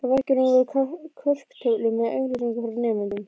Á veggjunum voru korktöflur með auglýsingum frá nemendum.